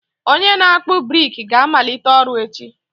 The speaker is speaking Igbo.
Onye na akpu brik ga-amalite ọrụ echi.